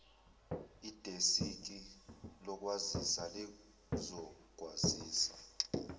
idesiki lokwazisa lizokwazisa